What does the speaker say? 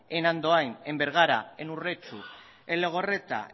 en andoain en bergara en urretxu en legorreta